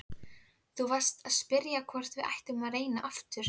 Þú varst að spyrja hvort við ættum að reyna aftur.